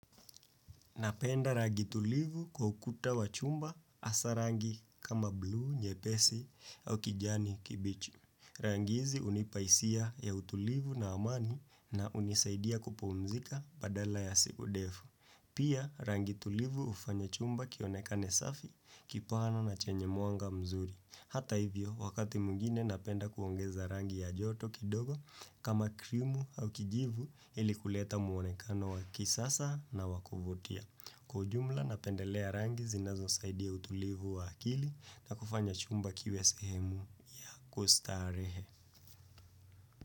Napenda rangi tulivu kwa ukuta wa chumba hasa rangi kama blu, nyepesi au kijani kibichi. Rangi hizi hunipaisia ya utulivu na amani na unisaidia kupumzika baada ya siku ndefu. Pia rangi tulivu hufanya chumba kionekane safi kipohana na chenye mwanga mzuri. Hata hivyo, wakati mwingine napenda kuongeza rangi ya joto kidogo kama krimu au kijivu ili kuleta muonekano wa kisasa na wa kuvutia. Kwa ujumla, napendelea rangi zinazo saidi ya utulivu wa akili na kufanya chumba kiwe sehemu kustarehe.